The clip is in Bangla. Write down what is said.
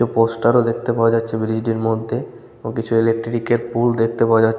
পোস্টার ও দেখতে পাওয়া যাচ্ছে ব্রিজ টির মধ্যে এবং কিছু ইলেকট্রিক এর পুল ও দেখতে পাওয়া যা--।